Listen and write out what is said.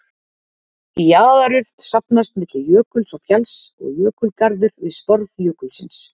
Jaðarurð safnast milli jökuls og fjalls og jökulgarður við sporð jökulsins.